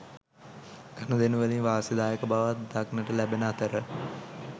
ගනුදෙනුවලින් වාසිදායක බවක් දක්නට ලැබෙන අතර